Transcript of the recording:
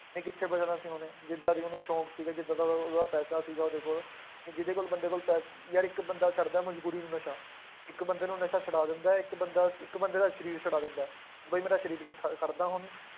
ਨਹੀਂ ਕਿੱਥੇ ਬਚਣਾ ਸੀ ਉਹਨੇ, ਜਿੱਦਾਂ ਦੇ ਉਹਨੂੰ ਸ਼ੌਂਕ ਸੀਗੇ ਜਿੱਦਾਂ ਦਾ ਉਹ, ਉਹਦਾ ਪੈਸਾ ਸੀਗਾ ਉਹਦੇ ਕੋਲ, ਕਿ ਜਿਹਦੇ ਕੋਲ ਬੰਦੇ ਕੋਲ ਪੈ~ ਯਾਰ ਇੱਕ ਬੰਦਾ ਕਰਦਾ ਮਜ਼ਬੂਰੀ ਨੂੰ ਨਸ਼ਾ, ਇੱਕ ਬੰਦੇ ਨੂੰ ਨਸ਼ਾ ਛਡਾ ਦਿੰਦਾ ਹੈ ਇੱਕ ਬੰਦਾ ਇੱਕ ਬੰਦੇ ਦਾ ਸਰੀਰ ਛੁਡਾ ਦਿੰਦਾ ਹੈ, ਵੀ ਮੇਰਾ ਸਰੀਰ ਨੀ ਖੜ~ ਖੜਦਾ ਹੁਣ